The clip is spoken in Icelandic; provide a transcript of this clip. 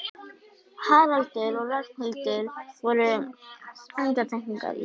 Haraldur og Ragnhildur voru undantekningar í